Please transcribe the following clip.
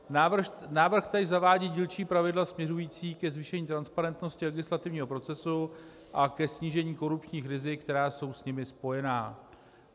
Návrh tedy zavádí dílčí pravidla směřující ke zvýšení transparentnosti legislativního procesu a ke snížení korupčních rizik, která jsou s nimi spojená.